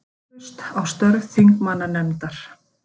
Vantraust á störf þingmannanefndar